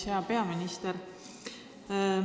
Hea peaminister!